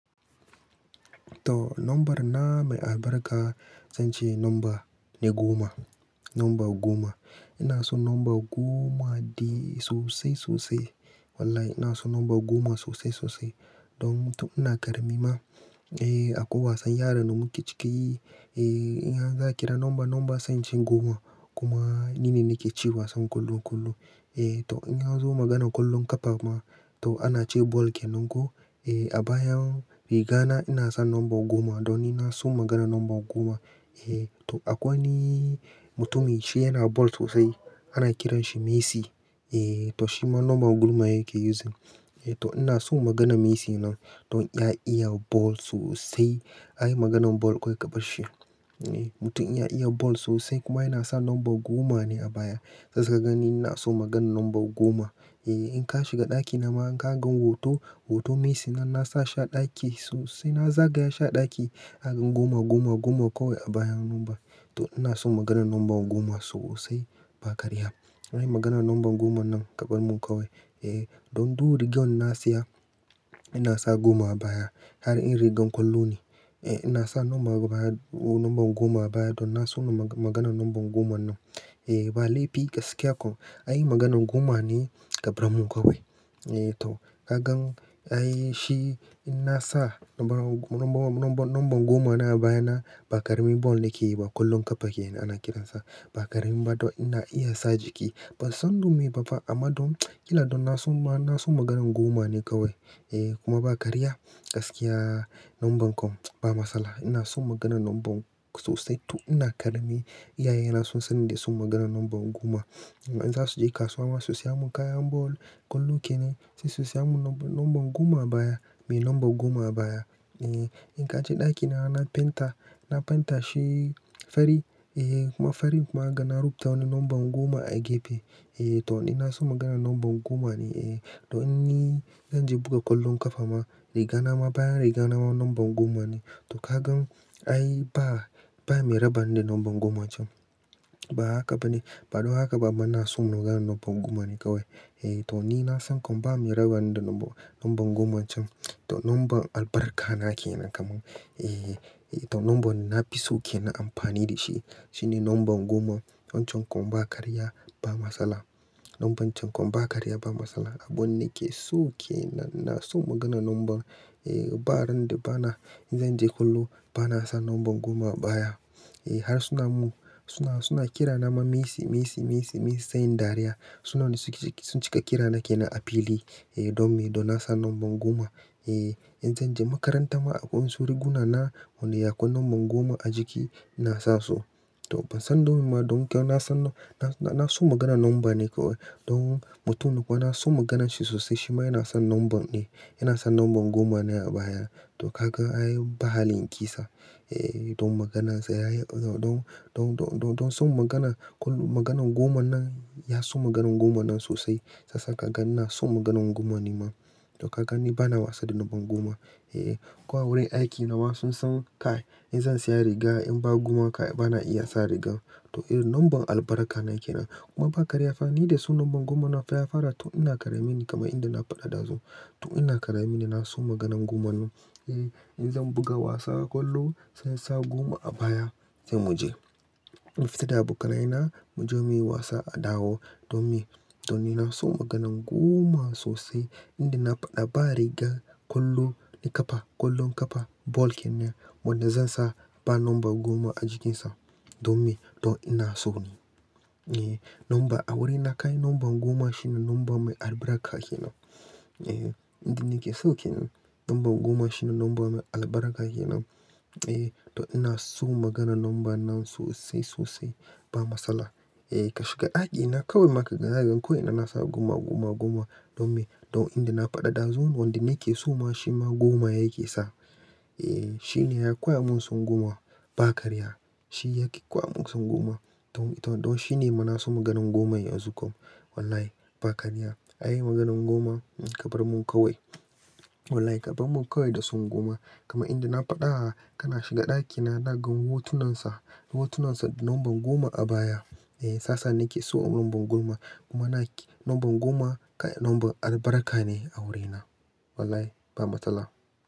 To, number na mai albarka zance number goma. Ina son number goma dai sosai sosai. Wallahi ina so nomba goma sosai sosai. Don tun ina karami ma, akwai wasan yara da muka cika yi, in za a kira number, number zance goma. Kuma nine nake cin wasan kullum kullum. Eh to inza zo magana kullun ƙafa ma, to ana ce ball kenan ko? Eh a bayan riga na ina sa number goma. Don ina son maganar number goma. Eh to akwai wani mutumi shi yana ball sosai. Ana kiranshi Messi. Eh to shima number gomayake using. Eh to ina son maganar Messi nan. Don ya iya ball sosai. In anyi maganar ball kawai kabar shi. Eh mutum inya iya ball sosai kuma yana sa number goma ne a baya. Sai suka gani ina so maganar number goma. Eh in ka shiga ɗaki na ma in ka ga hoto, hoton Messi nan nasa shi a ɗaki sosai. Nazagaya shi a ɗaki akan goma, goma, goma kawai a bayan number. To ina so maganar number goma sosai ba ƙarya. Anyi maganan number goman nan ƙabar mun kawai. Eh don du rigan nasiya ina sa goma a baya. Har in rigan kullum ne, eh ina sa number, number goma a baya. Don ina son maganar number goman nan. Eh ba laifi gaskiya kam, in dai maganar goma ne ƙabarmun kawai. Eh to ka gan ai shi inna sa number, number goma na a baya na ba ƙaramin ball nake yi ba ƙwallon ƙafa yake ana kiransa. Ba ƙarami ba don ina iya sa jiki. Ban san don me ba fa amma don ƙila don na son ma, na son maganan goma ne kawai. Eh kuma ba karya gaskiya nomban kam ba matsala. Ina son maganan nomban sosai tun ina karami. Iyaye na sun sanni da son maganan number goma. Inzasu je kasuwa ma su siya mun kayan ball. Ƙwallo kenan sesu siya mun number goma a baya. Mai number goma a baya. Eh in kaje ɗaki na, na fenta, na fenta shi fari, eh kuma farin kuma ga na rubuta number goma a gefe. Eh to ina son maganan number goma ne eh. Don in zan je buga ƙwallon ƙafa ma, riga na ma bayan riga na ma number goma ne. To ka gan ai ba, ba mai rabani da number goma can. Ba haka ba ne. Ba don haka ba amma na so maganan number goma ne kawai. Eh to ni na san kam ba mai rabani da number, number goma can. To nomban albarka na kenan kaman. Eh to nomban nafiso kenan amfani da shi. Shine number goma wancan kam ba karya ba matsala. Nomban can kam ba karya ba matsala. Abun nake so ke nan. Na so maganan nomban. Eh ba randa bana in zan je kullum, bana sa number goma baya. Eh har suna mu, suna, suna kira na ma Messi, Messi, Messi, Messi sai inyi dariya. Sune suke sun cika kira nake nan a fili. Eh don me? Don nasa number goma. Eh in zan je makaranta ma akwai wasu riguna na wanda akwai number goma a jiki ina sa su. To ban san dome ba don kyau nasan, na so maganan nomba ne kawai. Don mutum ko naso maganan shi sosai. Shi ma yana son nombar ne. Ina son number goma ne a baya. To kaga ai ba halin in kisa. Eh don maganan sa yayi, don, don, don, don son magana, kullum maganan goma nan, ya so maganan goman nan sosai. Kasa kaga ina son maganan goma ni ma. To kagani bana wasa da number goma. Eh ko a wurin aiki nawa sun san ka in zan siya riga in ba goma ba bana iya sa riga. To eh nomban albarka na ke nan. Kuma ba karya fa ni da son number goman nan ya faara tun ina karami ne kamar inda na faɗa dazu. To ina karamine na so maganan goman nan. Eh in zan buga wasan ƙwallo sai insa goma a baya sai mu je. Mu fita da abokanai na mu je muyi wasa a Dawo. Don me? Don ni nafi son maganan goma sosai inda na faɗa ba riga ƙwallo na ƙafa, ƙwallon ƙafa ball kenan. Wanda zansa ba number goma a jikin sa. Don me? Don ina sone. Eh number a wurina kai number goma shine number mai albarka kenan. Eh inda nake so kenan number goma shine number mai albarka kenan. Eh to ina son maganan nomban nan sosai sosai ba matsala. Eh ka shiga ɗaki na kawai ma zakaga ni ko ina na sa goma, goma, goma. Don me? Don inda na faɗa dazu wanda nakeso ma shima goma yake sa. Eh shine ya koya mun son goma ba ƙarya. Shi yake kowa mun son goma. Don, don shine ma naso maganan goma yanzu kam. Wallahi ba karya. Anyi maganan goma kabar mun kawai. Wallahi ƙabar mun kawai da son goma. Kaman inda na faɗa kana shiga ɗaki na zakaga hotunan sa, hotunan sa da number goma a baya. Eh sasa nake so nomban goma. Kuma na, number goma kai nomban albarka ne a wurina. Wallahi ba matsala.